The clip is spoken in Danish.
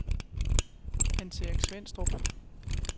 Hans-Erik Svenstrup